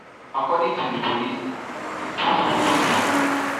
according to di police im post for facebook